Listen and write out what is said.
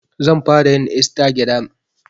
Zan fara yin Istagiram